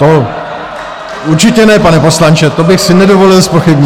To určitě ne, pane poslanče, to bych si nedovolil zpochybnit!